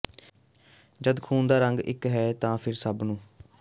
ਜਦ ਖ਼ੂਨ ਦਾ ਰੰਗ ਇਕ ਹੈ ਤਾਂ ਫਿਰ ਸਭ ਨੂ